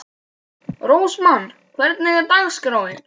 Rósmann, hvernig er dagskráin?